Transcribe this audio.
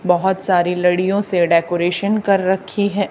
बहुत सारी लड़ीयों से डेकोरेशन कर रखी है।